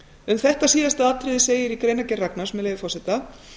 um þetta síðasta atriði segir í greinargerð ragnars með leyfi forseta